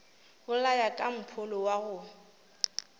bolaya ka mpholo wa go